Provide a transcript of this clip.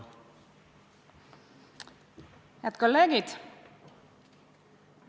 Head kolleegid!